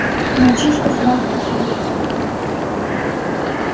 мальчишка сразу запаниковал